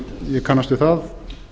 ég kannast við það